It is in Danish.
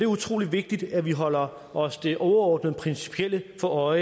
utrolig vigtigt at vi holder os det overordnede principielle for